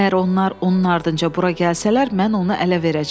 Əgər onlar onun ardınca bura gəlsələr, mən onu ələ verəcəm.